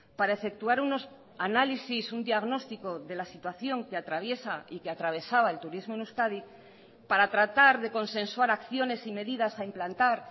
para efectuar unos análisis un diagnóstico de la situación que atraviesa y que atravesaba el turismo en euskadi para tratar de consensuar acciones y medidas a implantar